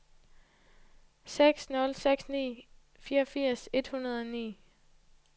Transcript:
syv nul seks ni fireogfirs et hundrede og ni